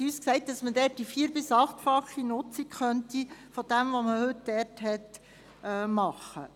Man hat uns gesagt, man könne dort das Vier- bis Achtfache der heutigen Nutzung erreichen.